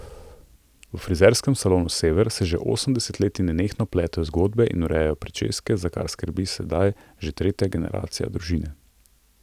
V frizerskem salonu Sever se že osem desetletij nenehno pletejo zgodbe in urejajo pričeske, za kar skrbi sedaj že tretja generacija družine.